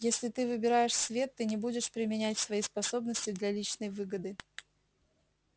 если ты выбираешь свет ты не будешь применять свои способности для личной выгоды